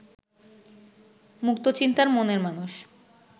মুক্তচিন্তার মনের মানুষ